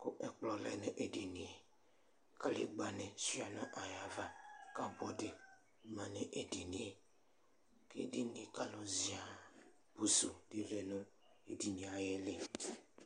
kʋ ɛ̵kplɔ lɛnʋ edinie, kakegba ni suia nʋ ayʋ ava kʋpʋdi manʋ edinie kʋ edinie kalʋ ziaa, pʋsʋ lɛnʋ edinie ayʋ iili